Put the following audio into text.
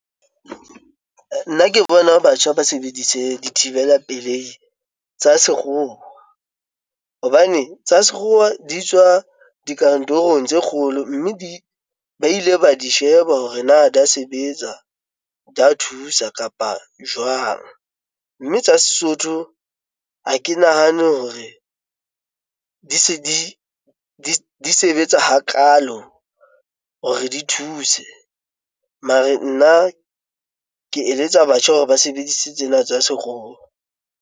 Nna ke bona batjha ba sebedise dithibela pelehi tsa sekgowa, hobane tsa sekgowa di tswa dikantorong tse kgolo mme di ba ile ba di sheba hore na di a sebetsa, di a thusa kapa jwang mme tsa Sesotho ha ke nahane hore di se di sebetsa hakalo hore di thuse mare nna ke eletsa batjha hore ba sebedise tsena tsa sekgowa.